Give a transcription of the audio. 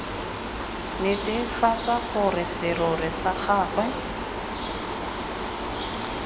netefatsa gore serori sa gagwe